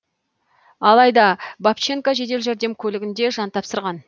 алайда бабченко жедел жәрдем көлігінде жан тапсырған